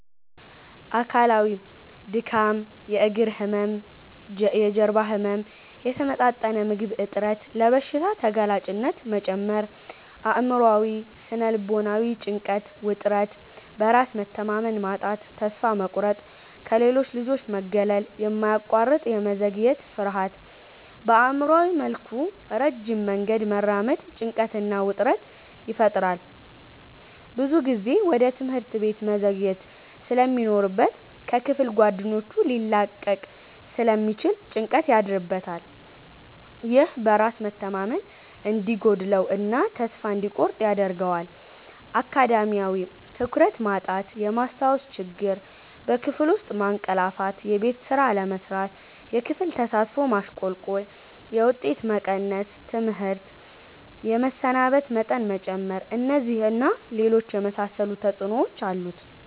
አካላዊ:-ድካም፣ የእግር ህመም፣ የጀርባ ህመም፣ የተመጣጠነ ምግብ እጥረት፣ ለበሽታ ተጋላጭነት መጨመር። አእምሯዊ / ስነ-ልቦናዊ:-ጭንቀት፣ ውጥረት፣ በራስ መተማመን ማጣት፣ ተስፋ መቁረጥ፣ ከሌሎች ልጆች መገለል፣ የማያቋርጥ የመዘግየት ፍርሃት። በአእምሯዊ መልኩ ረጅም መንገድ መራመድ ጭንቀትና ውጥረት ይፈጥራል። ብዙ ጊዜ ወደ ትምህርት ቤት መዘግየት ስለሚኖርበት ከክፍል ጓደኞቹ ሊላቀቅ ስለሚችል ጭንቀት ያድርበታል። ይህ በራስ መተማመን እንዲጎድለው እና ተስፋ እንዲቆርጥ ያደርጋል። አካዳሚያዊ:-ትኩረት ማጣት፣ የማስታወስ ችግር፣ በክፍል ውስጥ ማንቀላፋትየቤት ስራ አለመስራት፣ የክፍል ተሳትፎ ማሽቆልቆል፣ የውጤት መቀነስ፣ ትምህርት የመሰናበት መጠን መጨመር። እነዚህን እና ሌሎች የመሳሰሉ ተጽዕኖዎች አሉት።